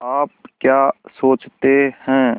आप क्या सोचते हैं